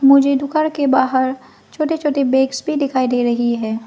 मुझे दुकान के बाहर छोटे छोटे बैग्स भी दिखाई दे रही हैं।